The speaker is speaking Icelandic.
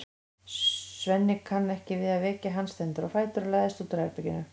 Svenni kann ekki við að vekja hann, stendur á fætur og læðist út úr herberginu.